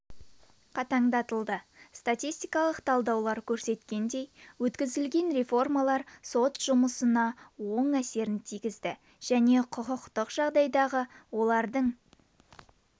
қатаңдатылды статистикалық талдаулар көрсеткендей өткізілген реформалар сот жұмысына оң әсерін тигізді жаңа құқықтық жағдайдағы олардың